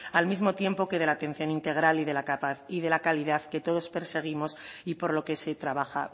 al mismo tiempo que de la atención integral y de la calidad que todos perseguimos y por lo que se trabaja